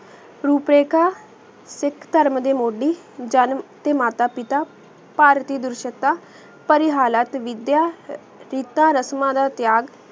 ਰੂਪੇ ਕਾ ਸਿੱਖ ਧਰਮ ਦੇ ਮੋਦੀ ਜਨਮ ਤੇ ਮਾਤਾ ਪਿਤਾ ਭਾਰਤੀ ਦੁਰ੍ਸ਼ਕਤਾ ਪਰ ਆਯ ਹਾਲਤ ਵਿਦ੍ਯਾ ਰਸਮਾ ਦਾ ਤ੍ਯਾਗ